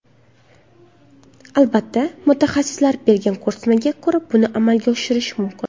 Albatta, mutaxassislar bergan ko‘rsatmaga ko‘ra buni amalga oshirish mumkin.